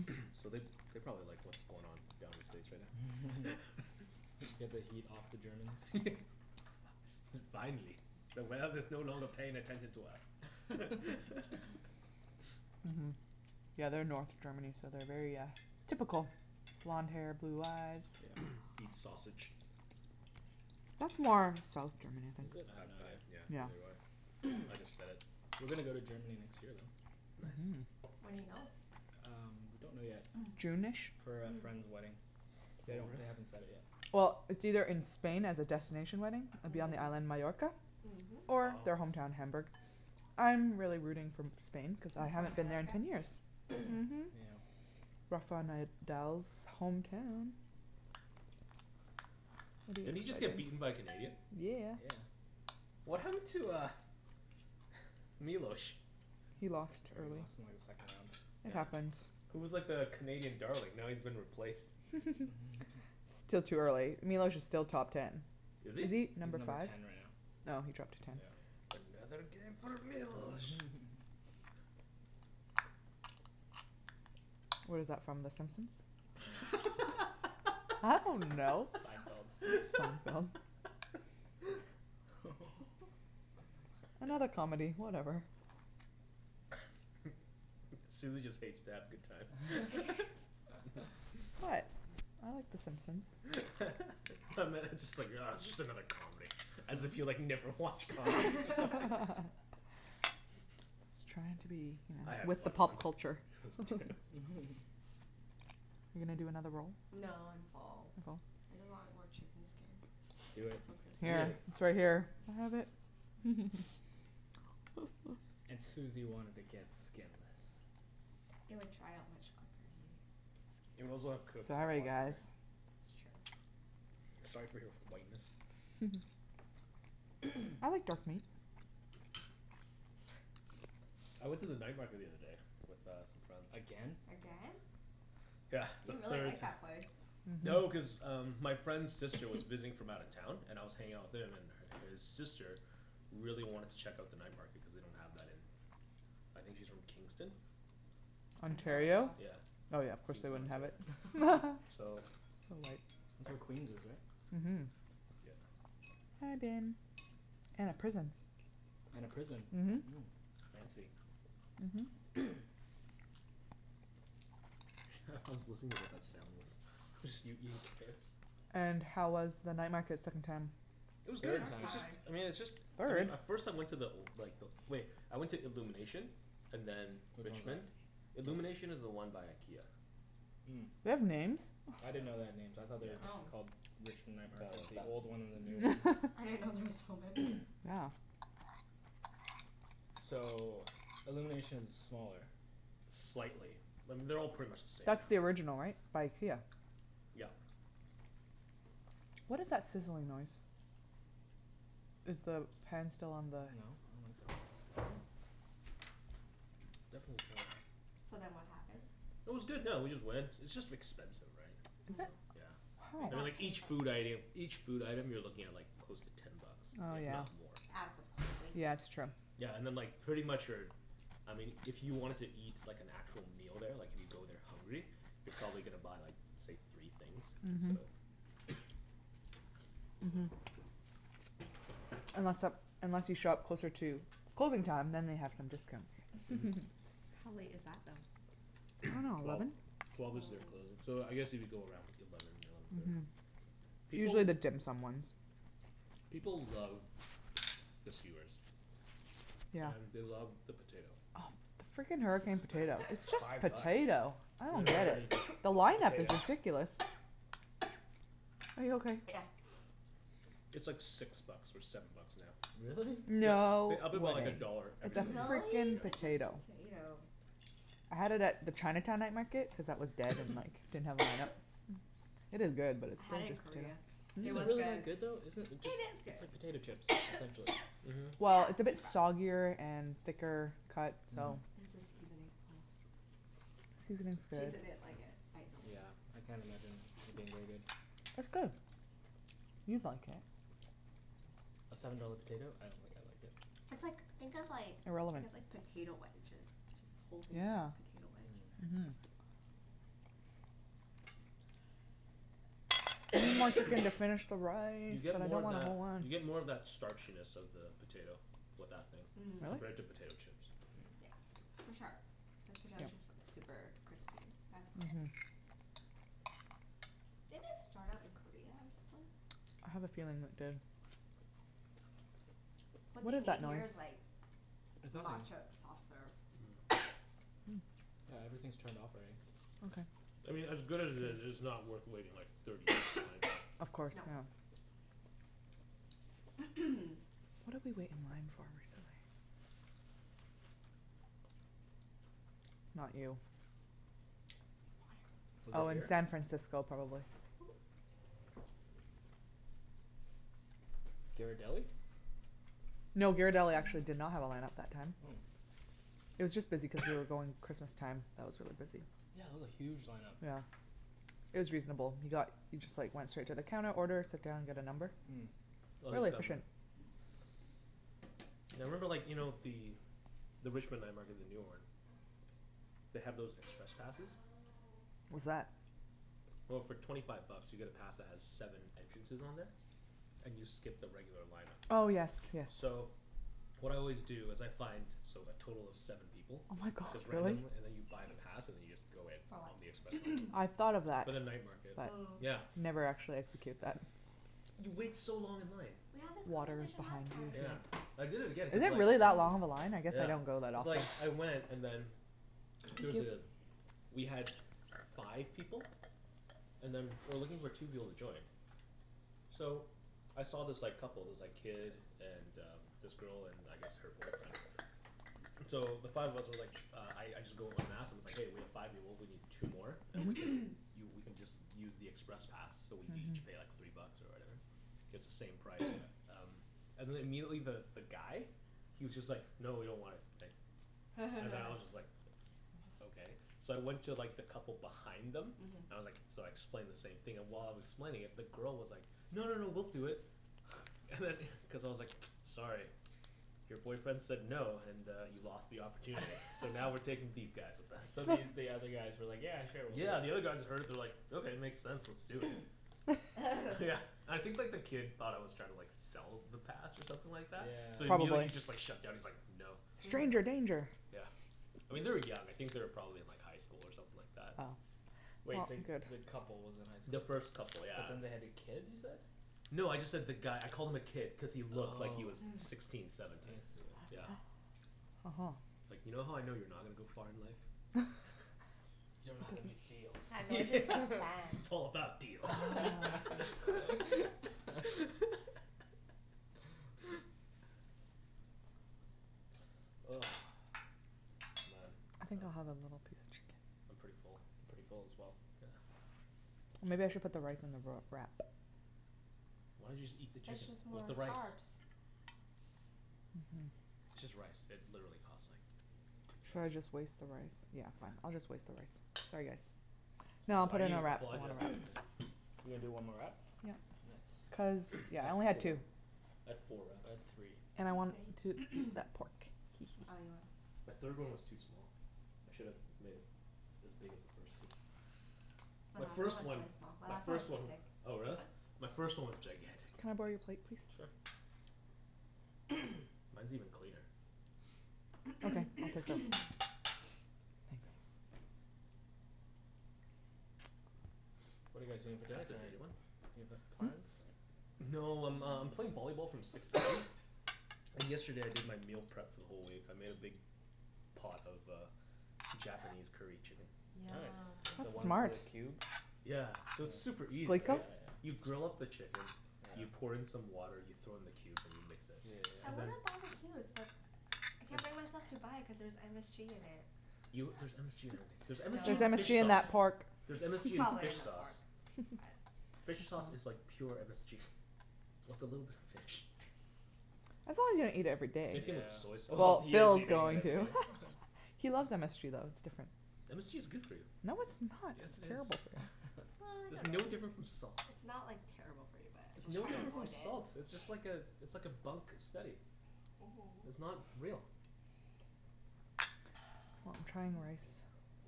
So they, they probably like what's going on down in States right now. Get the heat off the Germans? Fi- yeah, finally. The world is no longer paying attention to us. Mhm, yeah they are North Germany so they are very uh, typical, blonde hair blue eyes. Yeah. Eat sausage. That's more South Germany I Is think. it? I have no Yeah, idea. Yeah neither do I. I just said it. We're gonna go to Germany next year though. Nice. When do you go? Um, we don't know yet. june-ish? For a friend's wedding. They don't, they haven't set it yet. Well, it's either in Spain as a destination wedding, it'd be on the island Majorca Or Wow. their homeown their Hamburg. I am really rooting for Spain cuz I haven't been there in ten years. Mhm. Yeah. Rafael Nadal's hometown. Didn't he just get beaten by a Canadian? Yeah. Yeah. What happened to uh, Milos? He lost, Yeah, he early. lost in like his second round. It Yeah, happens he was like the Canadian darling. Now he's been replaced. Still too early, Milos is still top ten. Is Is he? he He's number number five? ten right now. Oh, he dropped to ten. Yeah. Another game for Milos! Mhm Where's that from, the Simpsons? I dunno! Seinfeld. Seinfield? Another comedy, whatever. Susie just hates to have a good time. What, I like the Simpsons. I meant, just like ugh just another comedy, as if you like, never watch comedies or something. I was trying to be you know, I had with the fun pop once. culture. Are you gonna do another roll? No, I'm full. You're full? I just want more chicken skin. Do it. It's so crispy. Eat Here, it. it's right here. I have it! And Susie wanted to get skinless. It would dry out much quicker. It would get also have skin. cooked a Sorry lot quicker. guys. That's true. Sorry for your whiteness? I like dark meat. I went to the night market the other day with uh some friends. Again? Again? Yeah, for You the really third like ti- that place. No, cuz um my friend's sister was visiting from out of town and I was hanging out with him and her, his sister really wanted to check out the night market cuz they don't have that in, I think she's from Kingston? Ontario? Ontario? Oh Yeah, yeah, of course they Kingston wouldn't have it. Ontario. So. So That's white. where Queens is right? Mhm. Yep. I've been. And a prison. And a prison. Mhm. Fancy. Mhm. Hah, I was listening to what that sound was. It was just you eating carrots. And how was the night market second time? It was good! Third Third time! It's just, time! I mean it's just I mean, Third? at first I went to the old, like the old wait, I went to Illumination and then, Which one is that? Richmond. Illumination is the one by IKEA. Mm. They have names? I didn't know they had names, I thought they were just called Richmond Night Market, the old one and the new one. I didn't know there was so many. Yeah. So, Illuminations is smaller Slightly. I mean, they're all pretty much the same now. That's the original right? By IKEA. Yep. What is that sizzling noise? Is the pan still on the No, I don't think so. So then what happened? It was good yeah, we just went, it's just expensive right. Is it? Yeah. And then like each food item, each food item you're looking at like close to ten bucks, Oh if yeah not more. It adds up quickly. Yeah that's true. Yeah, and then like pretty much your, I mean if you wanted to eat like an actual meal there like if you go there hungry, you're probably gonna buy like, say, three things, so. Mhm. Mhm. Unless uh unless you show up closer to closing time then they have some discounts. How late is that I though? dunno, Twelve. eleven? Twelve is their closing, so I guess if you go around eleven, eleven thirty. People Usually the dim sum ones. People love the skewers. Yeah. And they love the potato. Oh, the freakin hurricane potato It's It's just five bucks. potato, I It's don't get literally it. just The a line up is potato. ridiculous. Are you okay? Yeah. It's like six bucks or seven bucks now. Really? They No. they up it about a dollar every It's a single year. Really? freakin It's just potato. potato. I had it at the Chinatown night market cuz that was dead and like, didn't have a line up. It is good but it's I still had it in just potato. Korea. It Is it was really that good. good though? Isn't it, it just, it's like It is good. potato chips, essentially Mhm. Well, it's a bit soggier and thicker cut Mm. so. It's the seasoning. Seasoning's good. Jason didn't like it Yeah, I can't imagine it being really good. It's good. You'd like it. A seven dollar potato, I don't think It's I'd like it. like, think of like, I guess like potato wedges, just the whole thing is like Yeah, potato wedge. mhm. We need more chicken to finish the rice, You get and I more don't of want a that, whole one. you get more of that starchiness of the potato with that thing. Mhm. Compared to potato Really? chips. Yeah, for sure. Cuz potato chips are super crispy. That's not. Mhm. Did it start out in Korea or something? I have a feeling it did. What What they is need that here is noise? like It's nothing. matcha soft serve. Yeah, everything's turned off already. I Okay. mean as good as it is, it's not worth waiting like thirty minutes in line for. Of course, yeah. What did we wait in line for recently? Not you. Was it Oh in here? San Francisco probably. Ghirardelli? No, Ghirardelli actually did not have a line up that time. Oh. It was just busy cuz we were going Christmas time, that was really busy. Yeah, it was a huge lineup. Yeah. It was reasonable. We got, we just like went straight to the counter order, sit down, get a number. Mm. I Really like them. efficient. Yeah, I remember like, you know the, the Richmond night market, the newer one, they have those express passes. What's that? Well, for twenty five bucks you get a pass that has seven entrances on there, and you skip the regular line up. Oh yes yes. So what I always do is I find so like, total of seven people. Oh my god, Just really? randomly, and then you buy the pass and then you just go in. For what? On the express I line. thought of that For but the night market. Yeah. Mm. Never actually execute that. You wait so long in line. We had this Water conversation behind last you time. if you Yeah. want some I did it again Is cuz it like really that long, the line? I guess I Yeah, don't go that cuz often. like, I went and then there was a, we had five people and then we were looking for two people to join. So I saw this like couple, this like kid and uh this girl and I guess her boyfriend. So the five of us were like, uh I I just go up and ask, and I was like, "Hey we have five people we need two more and we can, you we can just use the express pass so we each pay like three bucks or whatever, it's the same price." And then immediately the guy he was just like, "No, we don't want it, thanks." And then I was just like, "Okay." So I went to like the couple behind them, I was like, so I explained the same thing and while I was explaining it the girl was like, "No, no, no, we'll do it." And then cuz I was like, "Sorry, your boyfriend said no and uh he lost the opportunity." So now we're taking these guys with us. So the, you, the other guys were like, "Yeah, sure we'll do it." Yeah, the other guys that heard it they were like, "Okay, it makes sense, let's do it." Yeah, I think like the kid thought I was trying to like sell the pass or something like that? So Yeah. immediately he Probably. was just like shutdown, he's like, "No." Stranger danger! Yeah, I mean they were young, I think they were probably in like highschool or something like that. Oh. Wait, the, the couple was in The highschool? first couple But yeah. then they had a kid you said? No, I just said the guy, I called him a kid cuz he looked like he was sixteen, I seventeen. see, I see. Yeah. Uh huh. It's like, "You know how I know you're not gonna to go far in life?" You dunno how to make yeah, deals. it's all about deals. Ugh, man I think I'll have a little piece of I'm chicken. pretty full. Pretty full as well. Yeah. Maybe I should put the rice in the roll, wrap. Why don't you just eat the It's chicken just with more the rice. carbs. Mhm. It's just rice, it literally cost like two Should I cents. just waste the rice, yeah, fine, I'll just waste the rice, sorry, guys. No, I'll Why put are it in you a wrap, I want a apologizing to wrap. him? You're gonna do one more wrap? Yep Cuz Nice. I yeah, I had only had four, two. I had four wraps. I had three. And I I wanted to had three. eat that pork. The third one was too small. I should've made it as big as the first two. My My last one first was one, really small, my first one, oh but. really? My first one was gigantic. Can I borrow your plate please? Sure. Mine's even cleaner. Okay, I'll take this. Thanks. What are you guys doing for dinner Pass the tonight? dirty one? Do you have a, plans? No, I'm um playing volleyball from six to eight. And yesterday I did my meal prep for the whole week. I made a big pot of uh Japanese curry chicken. Yum. Nice. The That's one's that smart. are cubed? Yeah, so it's super easy, Glico? right? You grill up the chicken, you pour in some water, you throw in the cubes, and you mix it. Yeah I yeah And then wanna yeah. buy the cubes but I can't bring myself to buy it cuz there's MSG in it. You, there's MSG in everything. There's MSG Threre's No. in MSG fish in that sauce. pork There's MSG in Probably fish in the sauce. pork, but. Fish sauce is like pure MSG, with a little bit of fish. As long as you don't eat it every day. Same Yeah. thing with soy Oh, sauce. Well he is Phil's eating it going every to. day. He loves MSG though, it's different. MSG is good for you. No, it's not. Yes, It's it is. terrible. Well, I There's don't no know. difference from salt. It's not like terrible for you but I It's no try to different from avoid it. salt! It's just like uh it's like a bunk steady. It's Mhm. not real. Well, I'm trying rice,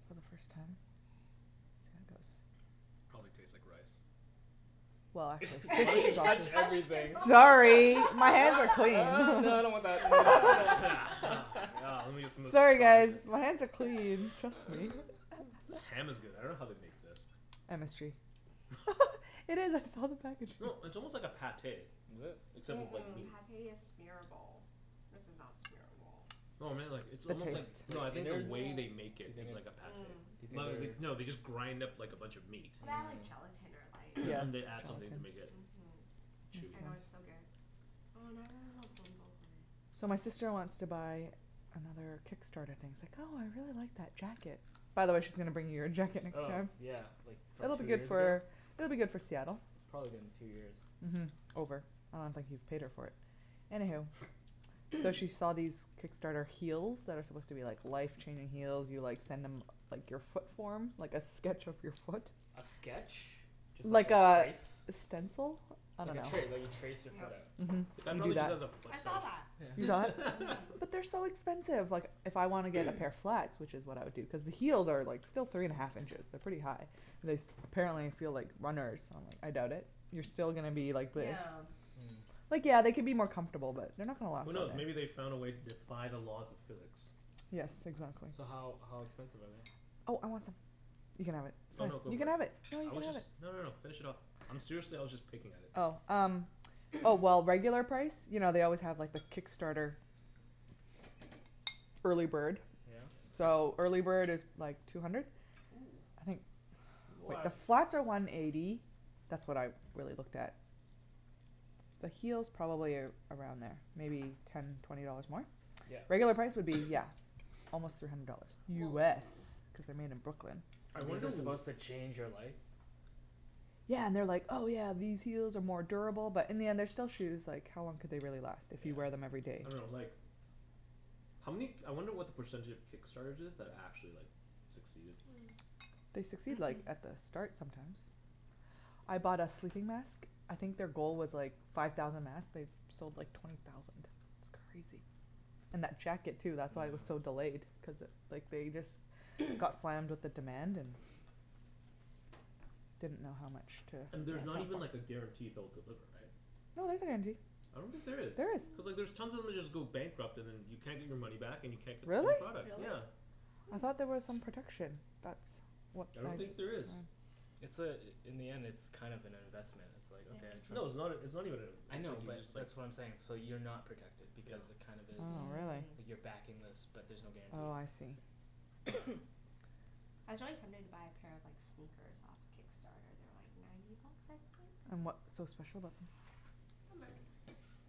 for the first time. Probably tastes like rice. Well Sorry, my hands No are clean. no, no, I don't want that. Yeah, lemme just Sorry massage guys, it. my hands are clean, trust me. This ham is good. I dunno how they make this. MSG. No, it's almost like a Pâté. Is it? Except Mm- it's like mm, meat. Pâté is smearable, this is not smearable. No, I mean like, it's almost like, no I The mean the innards? way they Do make you it is like think, a do Pâté. you Mm. Well, they, think they, no they're they just grind up like a bunch of meat. Well, they add like Mm. gelatin or Yeah, and like they add something to make it Mhm, chewy. I know it's so good. Oh now I really want Ben Bo So my Hui. sister wants to buy another Kickstarter thing, she's like, "Oh I really like that jacket." By the way she's gonna bring you your jacket next Oh time. yeah, like from It'll be two good years ago? for, it'll be good for Seattle. It's probably been two years. Mhm. Over, I don't think he's paid her for it. Anywho. So she saw these Kickstarter heels that are supposed to be like life-changing heels, you like send them like your foot form, like a sketch of your foot. A sketch? Just like Like a a, trace? a stencil? I Like a dunno tra- like you trace your foot Mhm. The out. guy You do prolly just that. has a foot I saw that. fetish. You saw it? Mhm. But they're so expensive, like if I want to get a pair of flats, which is what I would do cuz the heels are like still three and half inches, they're pretty high, and this apparently feel like runners, I doubt it. You're still gonna be like this Yeah. Like yeah, they could be more comfortable but they're not gonna last Who forever knows, maybe they found a way to defy the laws of physics. Yes, exactly. So how, how expensive are they? Oh I want some, you can have it. Oh no, go You for can it. have it. Phil, you I can was have just, it. no no no, finish it off. I'm seriously, I was just picking at it. Oh, um, oh well, regular price, you know they always have like the Kickstarter early bird. Yeah. So, early bird is like two hundred? Woo. I think The What flats are one eighty, that's what I really looked at. The heels probably around there, maybe ten twenty dollars more? Yeah. Regular price would be yeah, almost three hundred dollars. Whoa. US, cuz they're made in Brooklyn. I These wonder are w- supposed to change your life? Yeah, and they are like, "Oh yeah, these heels are more durable" but in the end they're still shoes, like how long could they really last if you wear them everyday. I dunno like, how many k- I wonder what the percentage of Kickstarters is, that actually like succeeded. Hmm. They succeed like at the start sometimes. I bought a sleeping mask, I think their goal was like five thousand masks, they sold like twenty thousand, it's crazy. And that jacket too that's why it was so delayed cuz like they just got slammed with the demand and didn't know how much to And there's not even like a guarantee they'll deliver, right? No, there's a guarantee. I don't think there is. There is. Cuz like there's tons of them just go bankrupt and then you can't get your money back and you can't get Really? your product. Really? Yeah. I thought there was some protection, that's what I don't I've think there is. It's uh in the end it's kind of an investment, it's like, "Okay, I'll try- No, it's " not, it's not even an inv- I it's know like, you but that's what I'm saying, just like so you're not protected Yeah because it kind of is, Oh really. you're backing this but there's no guarantee. Oh I see. I was really tempted to buy a pair of like, sneakers off Kickstarter. They were like ninety bucks, I think? And what's so special about them?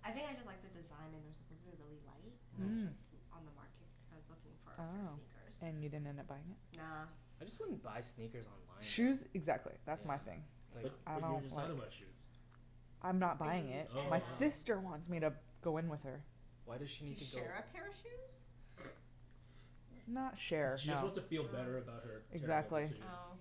I think I just like the design and they're supposed to be really light. And that's Mhm. just l- on the market, I was looking for a pair of Oh, sneakers. and you didn't end up buying it? Nah. I just wouldn't buy sneakers online Shoes though. exactly, that's my thing. But, I but you were don't just like talking about shoes. I'm not But buying you it. send Oh. My um sister wants me to go in with her. Why does she To need to go share a pair of shoes? Not share, She just no. wants to feel better about her terrible Exactly. decision. Oh.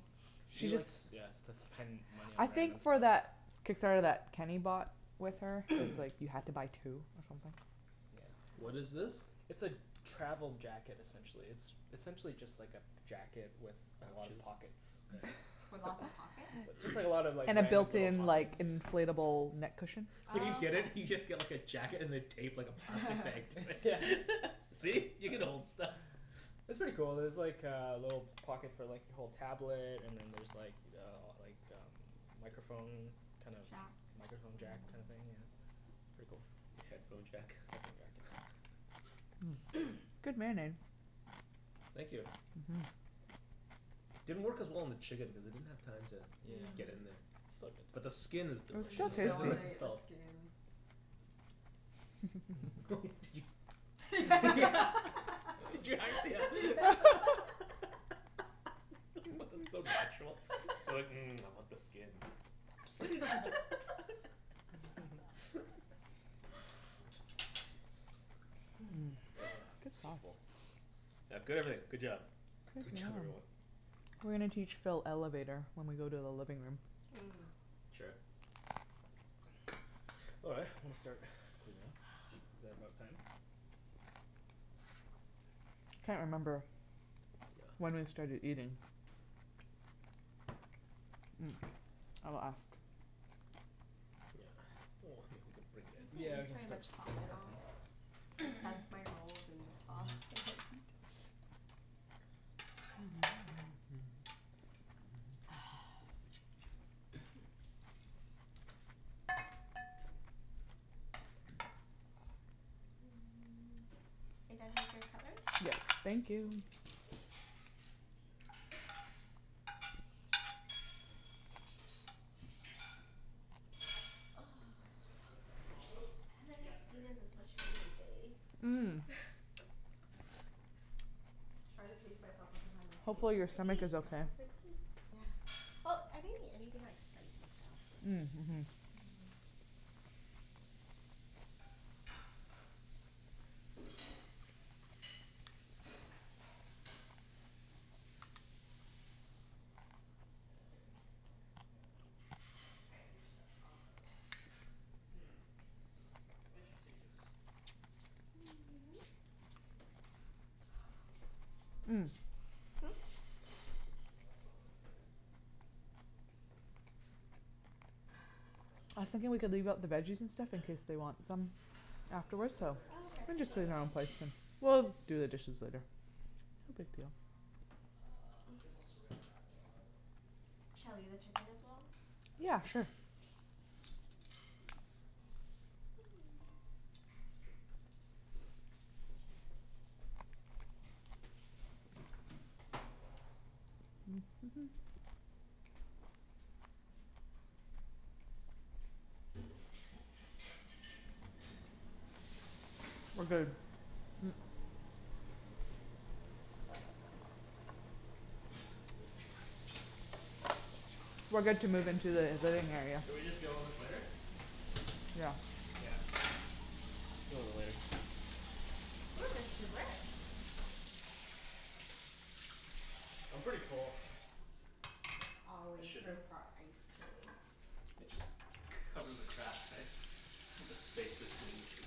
She likes, yeah, s- to spend money I on random think for stuff. that Kickstarter that Kenny bought with her, cuz like you have to buy two or something. What Yeah. is this? It's a travel jacket essentially. It's essentially just like a jacket with a lot of Pouches? pockets. Okay. With lots of pockets? Just like, just like a lot of like, And the random built little in pockets. like inflatable neck cushion? When you Oh get it, you just okay. get like a jacket and they tape like a plastic bag like yeah, see? You can hold stuff. It's pretty cool. There's like uh a little pocket for like, you hold tablet and then there's like uh like um microphone kind of Jack? Microphone jack kinda thing yeah. Pretty cool. A headphone jack? Headphone jacked, yeah. Good marinade. Thank you. Mhm. Didn't work as well on the chicken because it didn't have time to Yeah. get in there. Still But the good. skin is Mm, delicious. It and I has want more to eat the salt. skin. Did you Did you Yeah What the, so natural, you're like, "Mmm, I want the skin." Ah, so full. Yeah, good everything, good job. Good job everyone. We're gonna teach Phil Elevator when we go to the living room. Mm. Sure. All right, I'm gonna start cleaning up. Is that about time? Can't remember When we Yeah. started eating. I'll ask. Yeah, well, I mean we could You bring it in. guys didn't Yeah, we use can very start much to bring sauce at stuff all. in. I dunked my rolls in the sauce, they're like Are you done with your cutleries? Yeah, thank We'll you. load the dishwasher. I'm so full. Just, that's compost? I haven't Yeah, had, it's right eaten this much here. Sweet. food in days. Mm. Trying to pace myself the whole time like, don't Hopefully your stomach overeat, is don't okay. overeat. Well, I didn't eat anything like spicy so. Mm mhm. Just stick it in there. Yep. Okay. I can't quite reach the compost. Hmm, maybe I should take this. Well, that's not gonna fit. That's what she I said. think we could leave out the veggies and stuff in case they want some I wasn't gonna afterwards go so there, Oh We Phil. okay. can just clean our own plates and we'll do the dishes later. No big deal. Uh, I guess I'll saran wrap it up probably. Shall I leave the chicken as well? Yeah, sure. We're good to move into the living area. Should we just deal with this later? Yeah. Yeah, it's fine. We'll deal with it later. Ooh, there's dessert! I'm pretty full. There's always room for ice cream. It just, cover the cracks, right, the space between the food.